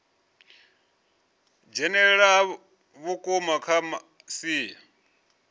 dzhenelela ha vhukuma kha masia